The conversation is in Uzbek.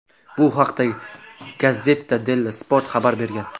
Bu haqda "Gazzetta Dello Sport" xabar bergan.